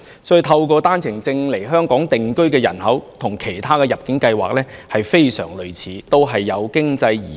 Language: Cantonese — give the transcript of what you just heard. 所以，透過單程證制度來香港定居的人口，跟透過其他入境計劃移居香港的人非常類似，均屬經濟移民。